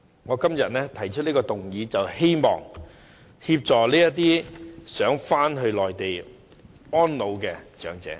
我今天提出議案，便是希望協助這些希望返回內地安老的長者。